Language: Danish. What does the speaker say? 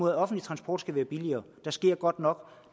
at offentlig transport skal være billigere der sker godt nok